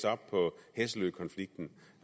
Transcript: så må